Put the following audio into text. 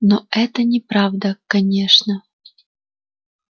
но это неправда конечно